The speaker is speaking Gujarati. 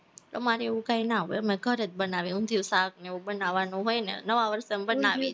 અમારે એવું કાઈ ના હોય, અમે તો ઘરે જ અનાવીએ, ઉંધીયું શાક ને એવું બનવવાનું હોય ને નવા વર્ષએ અમે બનાવીએ